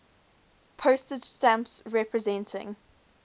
postage stamps representing